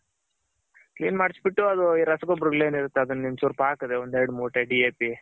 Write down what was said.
clean ಮಾಡ್ಸ್ ಬಿಟ್ಟು ಅದು ಈ ರಸಗೊಬ್ಬರ ಗಳೆನಿರುತ್ತೆ ಅದನ್ ಒನ್ಚೂರ್ ಹಾಕದ್ರೆ ಒಂದ್ ಎರಡ್ ಮೂಟೆ